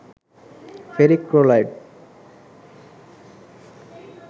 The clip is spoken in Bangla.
ferric chloride